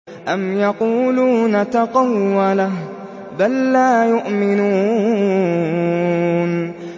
أَمْ يَقُولُونَ تَقَوَّلَهُ ۚ بَل لَّا يُؤْمِنُونَ